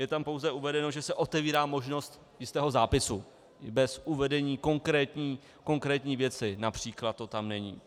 Je tam pouze uvedeno, že se otevírá možnost jistého zápisu bez uvedení konkrétní věci, například to tam není.